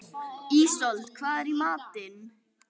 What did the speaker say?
Ísold, hvað er í matinn?